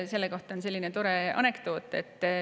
Selle kohta on üks tore anekdoot.